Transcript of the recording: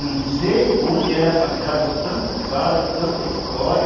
Não sei onde ela arranjava tanto caso, tanta história,